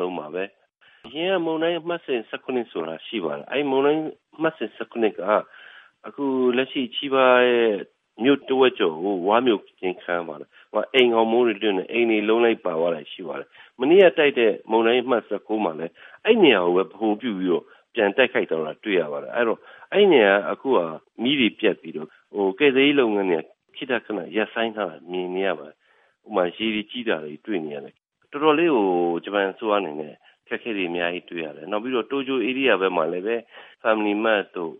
ဆုံးပါပဲ။ အရင်က မုန်တိုင်းအမှတ်စဉ် ၁၇ ဆိုတာ ရှိပါတယ်။ အဲဒီမုန်တိုင်းအမှတ်စဉ် ၁၇ က အခုလက်ရှိ Chiba ရဲ့ မြို့တဝက်ကျော်ကို ဝါးမြိုခြင်းခံရပါတယ်။ အိမ်ခေါင်မိုးတွေ လွင့်တယ်၊ အိမ်တွေအလုံးလိုက်ပါသွားတာ ရှိပါတယ်။ မနေ့ကတိုက်တဲ့ မုန်တိုင်းအမှတ် ၁၉ မှာလည်း အဲဒီနေရာကိုပဲ ဗဟိုပြုပြီး ပြန်တိုက်ခတ်သွားတာ တွေ့ရပါတယ်။ အဲဒီတော့ အဲဒီနေရာမှာ အခုက မီးတွေပြတ်ပြီးတော့ ကယ်ဆယ်ရေးလုပ်ငန်းတွေ ခေတ္တခန ရပ်ဆိုင်းထားတာ မြင်နေရပါတယ်။ ရေတွေကြီးတာတွေ တွေ့နေရတယ်။ တော်တော်လေးကို ဂျပန်အစိုးရ အနေနဲ့ အခက်အခက်တွေ အများကြီးတွေ့ရတယ်။ နောက်ပြီးတော့ တိုကျိုဧရိယာဘက်မှာလည်း Family Mart တို့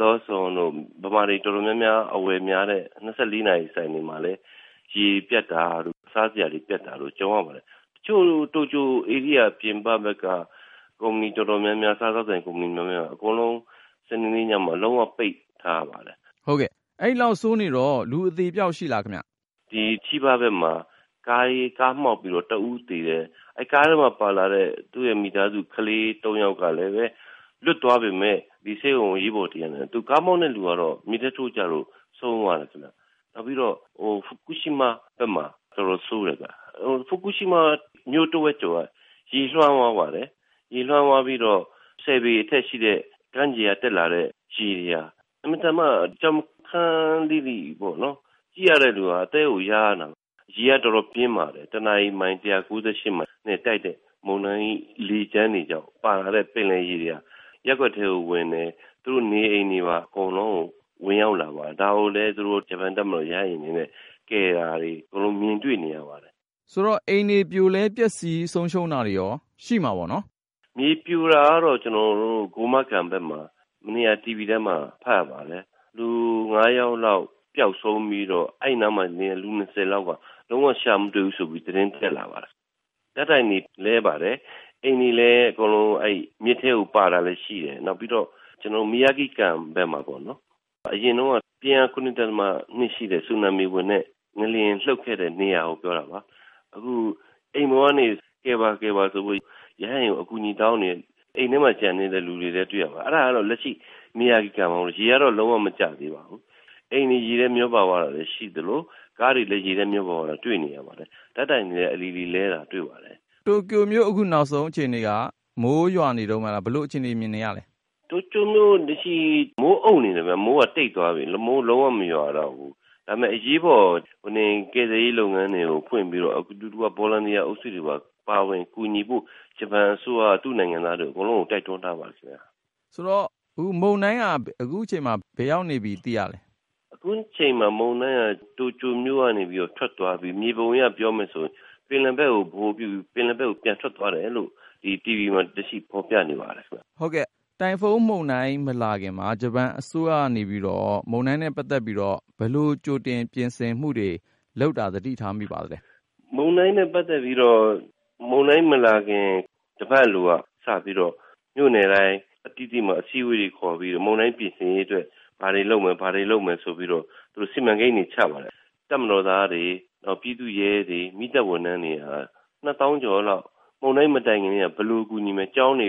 Lawson တို့ ဗမာတွေ တော်တော်များများ အဝယ်များတဲ့ ၂၄ နာရီဆိုင်တွေမှာလည်း ရေပြတ်တာတို့ စားစရာတွေ ပြတ်တာတို့ ကြုံရပါတယ်။ တချို့ တိုကျိုဧရိယာ ပြင်ပဘက်က ကုမ္ပဏီတော်တော်များများ၊ စားသောက်ဆိုင် တော်တော်များများက အကုန်လုံး စနေနေ့ညမှာ လုံးဝ ပိတ်ထားရပါတယ်။” ကိုဉာဏ်ဝင်းအောင် - ဟုတ်ကဲ့၊ အဲဒီလောက်ဆိုးနေတော့ လူအသေအပျောက် ရှိလားခင်ဗျ။ ဦးထွန်းဝေ - “Chiba ဘက်မှာ ကားမှောက်ပြီးတော့ တဦးသေတယ်။ ကားထဲမှာပါလာတဲ့ သူ့ရဲ့မိသားစု ကလေးသုံးယောက်ကလည်းပဲ လွတ်သွားပေမယ့် ဆေးရုံ အရေးပေါ်တင်ရတယ်။ ကားမောင်းတဲ့လူကတော့ မြစ်ထဲထိုးကျလို့ ဆုံးသွားတယ်ခင်ဗျ။ ပြီးတော့ Fukushima ဘက်မှာ တော်တော်ဆိုးတယ်ဗျ။ Fukushima မြို့တဝက်ကျော်က ရေလွှမ်းသွားပါတယ်။ ရေလွှမ်းသွားပြီးတော့ ၁၀ ပေအထက်ရှိတဲ့ ကမ်းခြေကတက်လာတဲ့ ရေတွေဟာ အင်မတန် ကြောက်ခမန်းလိလိ ကြည့်ရတဲ့သူက အသည်းကို ယားနေတာပဲ။ ရေက တော်တော်ပြင်းပါတယ်။ တနာရီ ၁၉၈ မိုင်နဲ့တိုက်တဲ့ မုန်တိုင်း လေကြမ်းတွေကြောင့် ပါလာတဲ့ ပင်လယ်ရေတွေက ရပ်ကွက်ထဲကိုဝင်တယ်။ သူတို့နေအိမ်တွေပါ အကုန်လုံးကို ဝင်ရောက်လာပါတယ်။ ဒါကိုလည်း ဂျပန်တပ်မတော် ရဟတ်ယာဉ်တွေနဲ့ ကယ်တာတွေ မြင်တွေ့နေရပါတယ်။” ကိုဉာဏ်ဝင်းအောင် - ဆိုတော့ အိမ်တွေပြိုလဲ ပျက်စီး ဆုံးရှုံးတာတွေရော ရှိမှာပေါ့နော်။ ဦးထွန်းဝေ - “မြေပြိုတာကတော့ Gunma Ken ဘက်မှာ မနေ့က တီဗွီထဲမှာ ဖတ်ရပါတယ်။ လူ ၅ ယောက်လောက် ပျောက်ဆုံးပြီးတော့ အဲဒီနားမှာနေတဲ့ လူ ၂၀ လောက်က လုံးဝ ရှာမတွေ့ဘူးဆိုပြီး သတင်းတက်လာပါတယ်။ ဓာတ်တိုင်တွေ လဲပါတယ်။ အိမ်တွေလည်း မြစ်ထဲကို ပါတာလည်း ရှိတယ်။ နောက်ပြီးတော့ Miyagi Ken ဘက်မှာ အရင်တုန်းက ပြင်းအား ၇.၂ ရှိတဲ့ ဆူနာမီဝင်တဲ့၊ ငလျင်လှုပ်ခဲ့တဲ့နေရာကို ပြောတာပါ၊ အခု အိမ်ပေါ်ကနေ ကယ်ပါ ကယ်ပါဆိုပြီး ရဟတ်ယာဉ်ကို အကူအညီတောင်းနေတဲ့ အိမ်ထဲမှာ ကျန်နေတဲ့ လူတွေလည်း တွေ့ရပါတယ်။ အဲဒါကတော့ လက်ရှိ Miyagi Ken မှာ ရေကတော့ လုံးဝ မကျသေးပါဘူး။ အိမ်တွေ ရေထဲမျောပါသွားတာလည်း ရှိသလို ကားတွေလည်း ရေထဲမျောပါသွားတာ တွေ့နေရပါတယ်။ ဓာတ်တိုင်တွေလည်း အလီလီလဲတာ တွေ့ပါတယ်။” ကိုဉာဏ်ဝင်းအောင် - တိုကျိုမြို့ အခုနောက်ဆုံး အခြေအနေက မိုးရွာနေတုန်းပဲလား၊ ဘယ်လိုအခြေအနေ မြင်နေရလဲ။ ဦးထွန်းဝေ - “တိုကျိုမြို့ လက်ရှိ မိုးအုံ့နေတယ်ဗျ၊ မိုးကတိတ်သွားပြီ၊ မိုးလုံးဝ မရွာတော့ဘူး။ ဒါပေမယ့် အရေးပေါ် ကယ်ဆယ်ရေးလုပ်ငန်းတွေ ဖွင့်ပြီးတော့ အတူတကွ Volunteer အုပ်စုတွေပါ ပါဝင်ကူညီဖို့ ဂျပန်အစိုးရက သူ့နိုင်ငံသားတွေ အကုန်လုံးကို တိုက်တွန်းထားပါတယ်။” ကိုဉာဏ်ဝင်းအောင် - မုန်တိုင်းက အခုချိန်မှာ ဘယ်ရောက်နေပြီ သိရလဲ။ ဦးထွန်းဝေ - “အခုချိန်မှာ မုန်တိုင်းက တိုကျိုမြို့ကနေ ထွက်သွားပြီ။ မြေပုံအရ ပြောမယ်ဆိုရင် ပင်လယ်ဘက်ကို ဗဟိုပြုပြီး ပင်လယ်ဘက်ကို ပြန်ထွက်သွားတယ်လို့ တီဗွီမှာ လက်ရှိ ဖော်ပြနေပါတယ်။” ကိုဉာဏ်ဝင်းအောင် - တိုင်ဖုန်းမုန်တိုင်း မလာခင်မှာ ဂျပန်အစိုးရက မုန်တိုင်းနဲ့ ပတ်သက်ပြီးတော့ ဘယ်လိုကြိုတင် ပြင်ဆင်မှုတွေ လုပ်တာ သတိထားမိပါသလဲ။ ဦးထွန်းဝေ - “မုန်တိုင်းနဲ့ ပတ်သက်ပြီးတော့ မုန်တိုင်းမလာခင် တပတ်အလိုက စပြီးတော့ မြို့နယ်တိုင်း အသီးသီးမှာ အစည်းအဝေးတွေ ခေါ်ပြီးတော့ မုန်တိုင်းပြင်ဆင်ရေးအတွက် ဘာတွေလုပ်မယ်၊ ဘာတွေလုပ်မယ် ဆိုပြီးတော့ သူတို့ စီမံကိန်းတွေ ချပါတယ်။ တပ်မတော်သားတွေ၊ ပြည်သူ့ရဲတွေ၊ မီးသတ်ဝန်ထမ်းတွေ ၂ သောင်းကျော်လောက် မုန်တိုင်းမတိုင်ခင်ကတည်းက ဘယ်လိုကူညီမယ်၊ ကျောင်းတွေ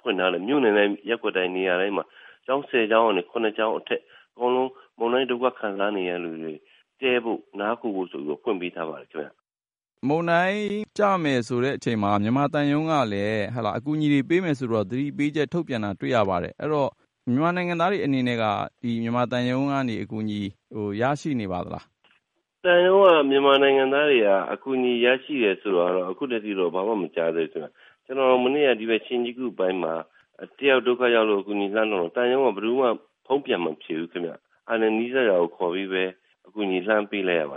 ဖွင့်ထားတဲ့ မြို့နယ်တိုင်း ရပ်ကွက်တိုင်း နေရာတိုင်းမှာ ကျောင်း ၁၀ ကျောင်းကနေ ၇ ကျောင်းအထက် အကုန်လုံး မုန်တိုင်းဒုက္ခ ခံစားနေရသူတွေ တည်းဖို့ နားခိုဖို့ဆိုပြီးတော့ ဖွင့်ပေးထားပါတယ်။” ကိုဉာဏ်ဝင်းအောင် - မုန်တိုင်းကျမယ်ဆိုတဲ့အချိန်မှာ မြန်မာသံရုံးကလည်း အကူအညီတွေ ပေးမယ်ဆိုပြီး သတိပေးချက် ထုတ်ပြန်တာ တွေ့ရပါတယ်။ အဲတော့ မြန်မာနိုင်ငံသားတွေ အနေနဲ့က မြန်မာသံရုံးကနေ အကူအညီ ရရှိနေပါသလား။ ဦးထွန်းဝေ - “သံရုံးက မြန်မာနိုင်ငံသားတွေက အကူအညီ ရရှိတယ်ဆိုတာ အခုထက်ထိတော့ ဘာမှမကြားသေးဘူးခင်ဗျ။ ကျနော် မနေ့က ဒီဘက် Shinjuku ပိုင်းမှာ တယောက်ဒုက္ခရောက်လို့ အကူအညီလှမ်းတောင်းတယ်။ သံရုံးက ဘယ်သူမှ ဖုန်းပြန်မဖြေဘူးခင်ဗျ။ အဲဒါနဲ့ နီးစပ်ရာကို ခေါ်ပြီးပဲ အကူအညီ လှမ်းပေးလိုက်ရပါ